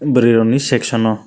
bwrwi rok ni section no.